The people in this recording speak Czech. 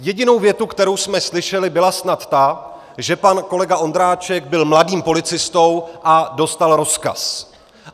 Jediná věta, kterou jsme slyšeli, byla snad ta, že pan kolega Ondráček byl mladým policistou a dostal rozkaz.